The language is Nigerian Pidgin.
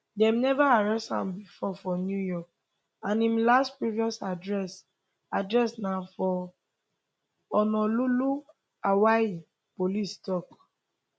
dem never arrest am before for new york and im last previous address address na for honolulu hawaii police tok